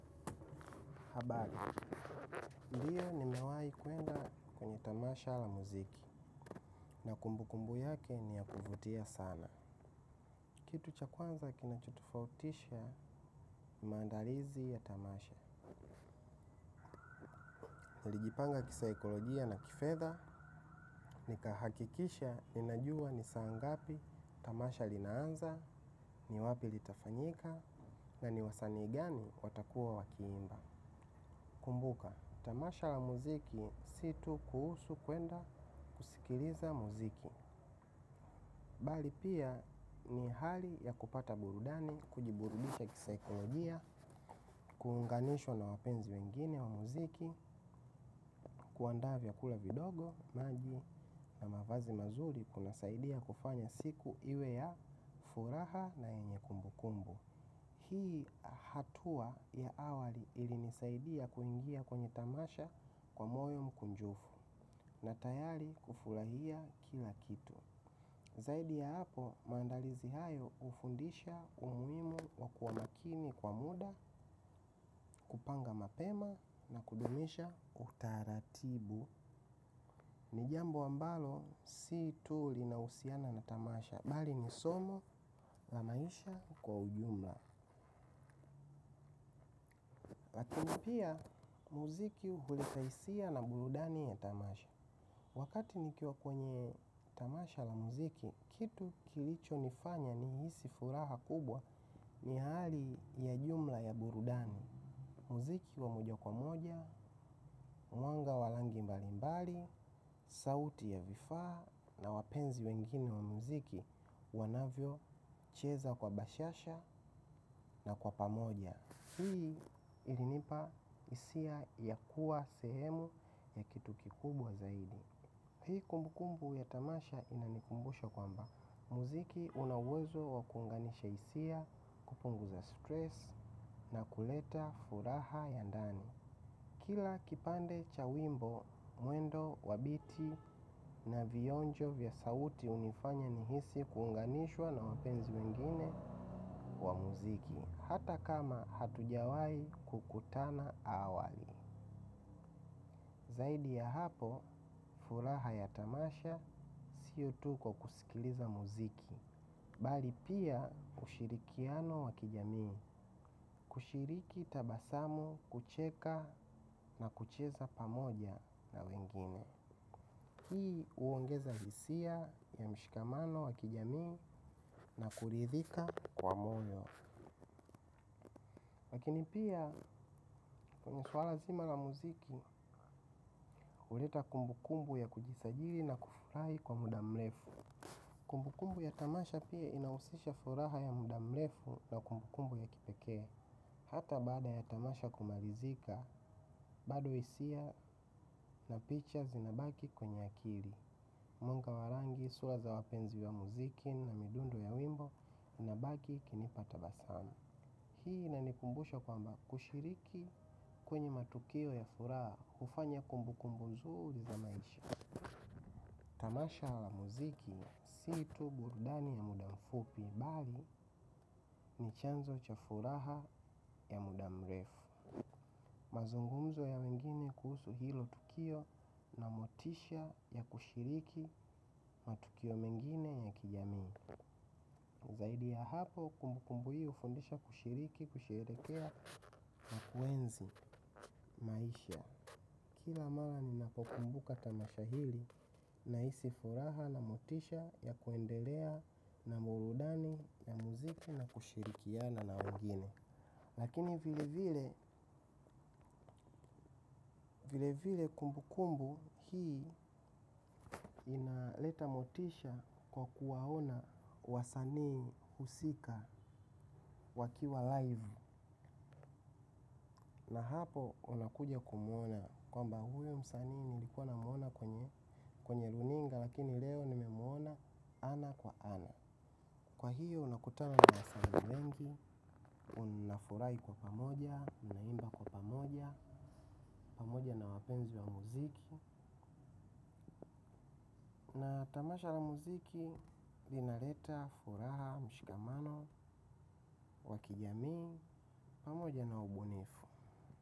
Habari, ndiyo nimewahi kwenda kwenye tamasha la muziki. Na kumbukumbu yake ni ya kuvutia sana. Kitu cha kwanza kinachotofautisha ni maandalizi ya tamasha. Nalijipanga kisaikolojia na kifedha. Nikahakikisha ninajua ni saa ngapi tamasha linaanza. Ni wapi litafanyika na ni wasanii gani watakuwa wakiimba. Kumbuka, tamasha la muziki si tu kuhusu kuenda kusikiliza muziki bali pia ni hali ya kupata burudani. Kujiburudisha kisaikolojia. Kuunganishwa na wapenzi wengine wa muziki. Kuandaa vyakula vidogo, maji na mavazi mazuri. Kunasaidia kufanya siku iwe ya furaha na yenye kumbukumbu. Hii hatua ya awali ilinisaidia kuingia kwenye tamasha kwa moyo mkunjufu na tayari kufurahia kila kitu. Zaidi ya hapo, maandalizi hayo hufundisha umuhimu wa kuwa makini kwa muda, kupanga mapema na kudumisha utaratibu. Ni jambo ambalo si tu linahusiana na tamasha, bali ni somo la maisha kwa ujumla. Lakini pia, muziki huleta hisia na burudani ya tamasha. Wakati nikiwa kwenye tamasha la muziki, kitu kilichonifanya nihisi furaha kubwa ni hali ya jumla ya burudani. Muziki wa moja kwa moja, mwanga wa rangi mbali mbali, sauti ya vifaa na wapenzi wengine wa muziki wanavyocheza kwa bashasha na kwa pamoja. Hii ilinipa hisia ya kuwa sehemu ya kitu kikubwa zaidi. Hii kumbukumbu ya tamasha inanikumbusha kwamba, muziki una uwezo wa kuunganisha hisia kupunguza stress na kuleta furaha ya ndani. Kila kipande cha wimbo, mwendo, wa biti na vionjo vya sauti hunifanya nihisi kuunganishwa na wapenzi wengine wa muziki, hata kama hatujawahi kukutana awali. Zaidi ya hapo, furaha ya tamasha, siyo tu kwa kusikiliza muziki. Bali pia, kushirikiano wa kijamii. Kushiriki tabasamu, kucheka na kucheza pamoja na wengine. Hii huongeza hisia ya mshikamano wa kijamii na kuridhika kwa moyo. Lakini pia, kwenye suala zima la muziki, huleta kumbukumbu ya kujisajili na kufurahi kwa muda mrefu. Kumbukumbu ya tamasha pia inahusisha furaha ya muda mrefu na kumbukumbu ya kipekee. Hata bada ya tamasha kumalizika, bado hisia na pictures inabaki kwenye akili. Mwanga wa rangi, sura za wapenzi wa muziki na midundo ya wimbo inabaki ikinipa tabasamu. Hii inanikumbusha kwamba kushiriki kwenye matukio ya furaha hufanya kumbukumbu nzuri za maisha. Tamasha la muziki, si tu burudani ya muda mfupi, bali ni chanzo cha furaha ya muda mrefu. Mazungumzo ya wengine kuhusu hilo tukio na motisha ya kushiriki matukio mengine ya kijamii. Zaidi ya hapo, kumbukumbu hii hufundisha kushiriki, kusherehekea na kuenzi maisha. Kila mara ninapokumbuka tamasha hili nahisi furaha na motisha ya kuendelea na burudani na muziki na kushirikiana na wengine. Lakini vile vile kumbukumbu hii inaleta motisha kwa kuwaona wasanii husika wakiwa live. Na hapo unakuja kumwona kwamba huyu msanii nilikuwa namwona kwenye runinga lakini leo nimemwona ana kwa ana. Kwa hiyo unakuta na wasanii wengi, unafurahi kwa pamoja, unaimba kwa pamoja, pamoja na wapenzi wa muziki Na tamasha la muziki, linaleta, furaha, mshikamano, wa kijamii, pamoja na ubunifu.